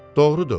Doğrudu.